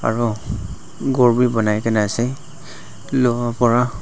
aro ghor bi banai kae na ase